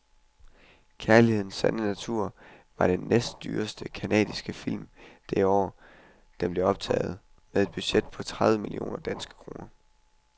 Kærlighedens sande natur var den næstdyreste canadiske film det år, den blev optaget, med et budget på tredive millioner danske kroner.